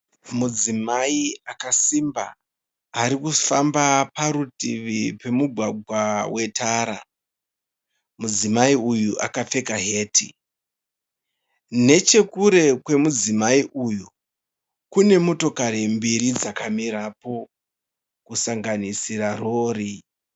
Mudzimai akasimba ari kufamba parutivi rwemugwagwa wetara. Mudzimai uyu akapfeka heti. Nechekure kwemudzimai uyu kune motokari mbiri dzakamirapo kusanganisira rori.